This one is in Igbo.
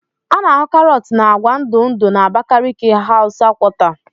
A na-ahụ karọt na agwa ndụ ndụ na Abakaliki hausa quarter.